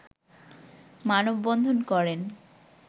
মানববন্ধন করেন